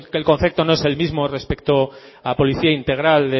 que el concepto no es el mismo respecto a policía integral